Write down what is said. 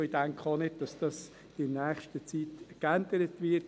Ich denke, dass dies in nächster Zeit auch nicht geändert wird.